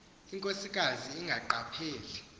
inkosikazi ingaqa pheli